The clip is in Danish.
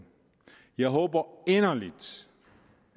jeg håber inderligt